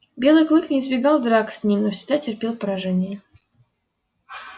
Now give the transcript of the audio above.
белый клык не избегал драк с ним но всегда терпел поражение